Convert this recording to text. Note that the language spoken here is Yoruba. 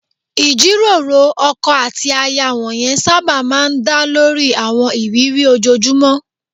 Ìjíròrò ọkọ àti aya wọ̀nyẹn sábà máa ń dá lórí àwọn ìrírí ojoojúmọ́